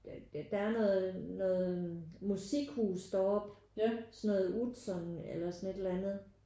Der er der er noget noget musikhus deroppe sådan noget Utzon eller sådan et eller andet